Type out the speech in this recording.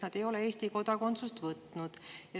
Nad ei ole Eesti kodakondsust võtnud.